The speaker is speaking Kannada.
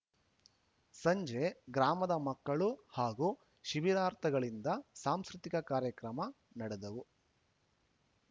ಸಂಜೆ ಗ್ರಾಮದ ಮಕ್ಕಳು ಹಾಗೂ ಶಿಬಿರಾರ್ಥಿಗಳಿಂದ ಸಾಂಸ್ಕೃತಿಕ ಕಾರ್ಯಕ್ರಮ ನಡೆದವು